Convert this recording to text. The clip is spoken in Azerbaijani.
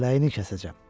Kələyini kəsəcəm.